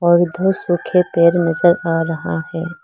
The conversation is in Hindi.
और दो सूखे पेड़ नजर आ रहा है।